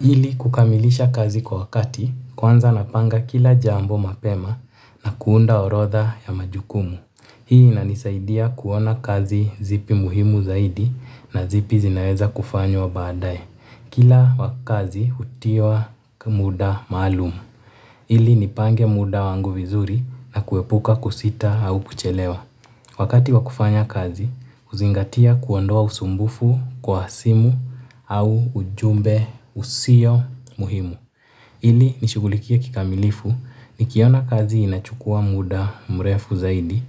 Ili kukamilisha kazi kwa wakati, kwanza napanga kila jambo mapema na kuunda orodha ya majukumu. Hii inanisaidia kuona kazi zipi muhimu zaidi na zipi zinaweza kufanywa baadae. Kila wakazi utiwa muda maalum. Ili nipange muda wangu vizuri na kuepuka kusita au kuchelewa. Wakati wa kufanya kazi, uzingatia kuondoa usumbufu kwa simu au ujumbe usio muhimu. Ili nishugulikie kikamilifu nikiona kazi inachukua muda mrefu zaidi